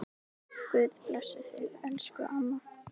Guð blessi þig, elsku amma.